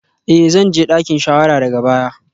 Eh zan je dakin shawara daga baya